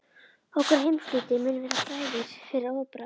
Okkar heimshluti mun vera frægur fyrir orðbragð.